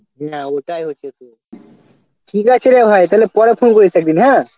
না ওটা ঠিক আছে রে ভাই তালে পরে phone করিস একদিন হ্যাঁ